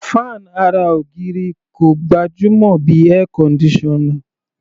Fan ara ògiri kò gbajúmọ̀ bí Air conditioner.